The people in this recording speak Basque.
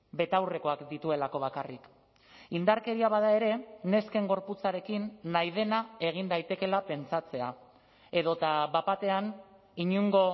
betaurrekoak dituelako bakarrik indarkeria bada ere nesken gorputzarekin nahi dena egin daitekeela pentsatzea edota bat batean inongo